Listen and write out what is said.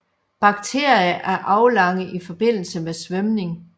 Bakterier er aflange i forbindelse med svømning